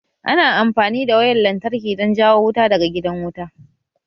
Ana amfani da wayar lantarki wurin jawo wuta daga gidan wuta